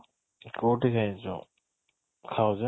କଉଠି ଖାଇଛ ?